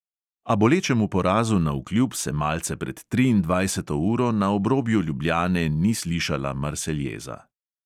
A bolečemu porazu navkljub se malce pred triindvajseto uro na obrobju ljubljane ni slišala marseljeza.